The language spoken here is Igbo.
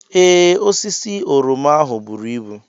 Ee, osisi oroma ahụ buru ibu.